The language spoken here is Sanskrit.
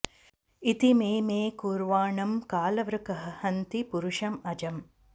इति मे मे कुर्वाणं कालवृकः हन्ति पुरुष अजम्